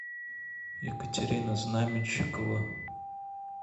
екатерина знаменщикова